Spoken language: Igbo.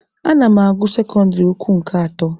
Ana m agụ sekọndịrị ukwu nke atọ.